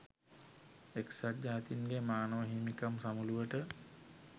එක්සත් ජාතින්ගේ මානව හිමිකම් සමුළුවට